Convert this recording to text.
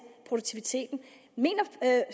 produktiviteten mener